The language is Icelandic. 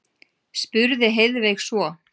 spurði Heiðveig svo.